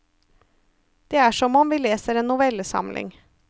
Det er som om vi leser en novellesamling.